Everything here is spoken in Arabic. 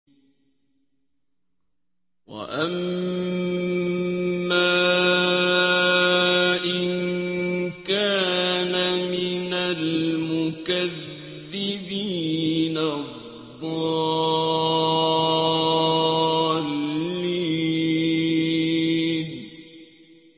وَأَمَّا إِن كَانَ مِنَ الْمُكَذِّبِينَ الضَّالِّينَ